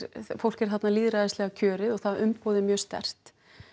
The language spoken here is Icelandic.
fólk er þarna lýðræðislega kjörið og það umboð er mjög sterkt